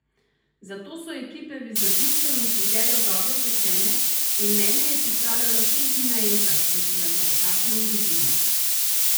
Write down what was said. Za to so ekipe vizažistov in frizerjev dobro utečene in mene je pripravljalo šest ljudi naenkrat, da so me pravočasno uredili.